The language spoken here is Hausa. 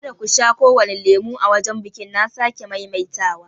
Ka da ku sha kowane lemon a wajen biƙin na sake maimaita wa!